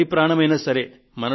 ఎవరి ప్రాణమైనా సరే